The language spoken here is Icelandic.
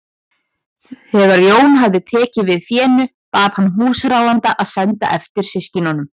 Þegar Jón hafði tekið við fénu bað hann húsráðanda að senda eftir systkinunum.